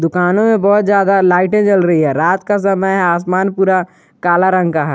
दुकानों में बहुत ज्यादा लाइटें जल रही है रात का समय है आसमान पूरा काला रंग का है।